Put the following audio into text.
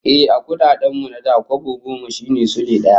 Ehh, a kudaden mu na da, kwabo goma shine Sule daya